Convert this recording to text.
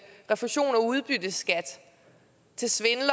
refusion af udbytteskat til svindlere